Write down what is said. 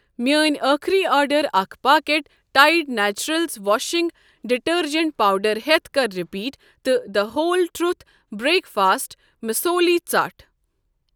میٚٲنۍ أخری آرڈر اکھ packet Tide Naturals washing detergent powder ہیٚتھ کر رِپیٖٹ تہٕ the whole truth breakfast مسوٗلی ژٹھ ۔